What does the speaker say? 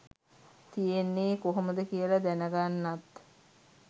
තියෙන්නේ කොහොමද කියලා දැනගන්නත්.